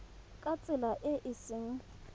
ka tsela e e seng